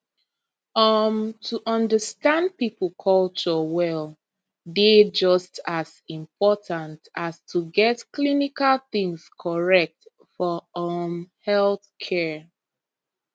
um to understand people culture well dey just as important as to get clinical things correct for um healthcare